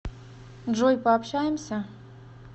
джой пообщаемся